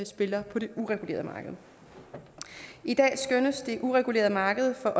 spiller på det uregulerede marked i dag skønnes det uregulerede marked for